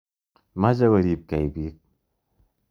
Mache koripkei piik.